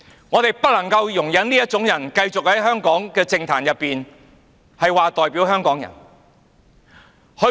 我們不能容忍這種人繼續在香港的政壇中說自己代表香港人。